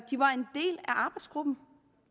arbejdsgruppen